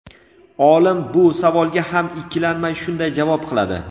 Olim bu savolga ham ikkilanmay shunday javob qiladi:.